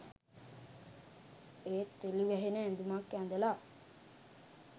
ඒත් විලි වැහෙන ඇඳුමක් ඇඳලා